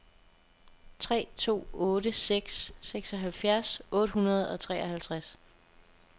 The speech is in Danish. tre to otte seks seksoghalvfjerds otte hundrede og treoghalvtreds